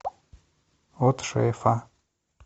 от шефа